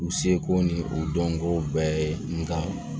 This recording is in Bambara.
U seko ni u dɔnko bɛɛ ye nka